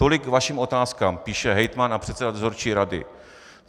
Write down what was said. Tolik k vašim otázkám," píše hejtman a předseda dozorčí rady.